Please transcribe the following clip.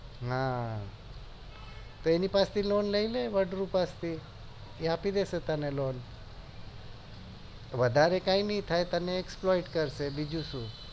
હા પેલી પાસે loan લઈલે વાદ્રું પાસે થી એ આપી દેશે તને loan વધારે કય નહી થાય તને exploit કરસ્ર બીજું શું